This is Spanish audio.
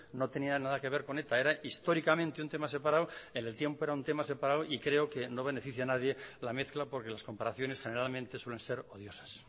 no tenía nada que ver con eta era históricamente un tema separado en el tiempo era un tema separado y creo que no beneficia a nadie la mezcla porque las comparaciones generalmente suelen ser odiosas